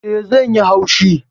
Eh. zai yi haushi